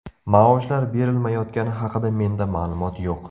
Maoshlar berilmayotgani haqida menda ma’lumot yo‘q.